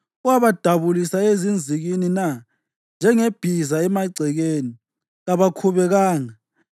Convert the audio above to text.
owabadabulisa ezinzikini na? Njengebhiza emagcekeni, kabakhubekanga;